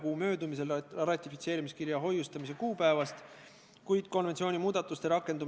Kokku võib neid pikendada kaheks viieaastaseks perioodiks ja esimene periood saab 3. detsembril läbi.